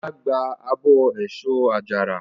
Ọlá gba abọ́ èso àjàrà.